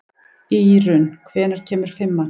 Írunn, hvenær kemur fimman?